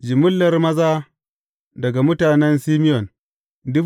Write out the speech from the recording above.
Jimillar maza daga mutanen Simeyon ne.